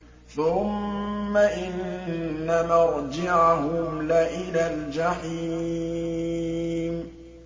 ثُمَّ إِنَّ مَرْجِعَهُمْ لَإِلَى الْجَحِيمِ